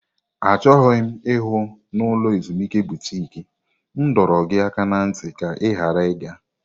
Achọghị m ịhụ na ulo ezimuike butiki m dọrọ gị aka ná ntị ka ị ghara ịga!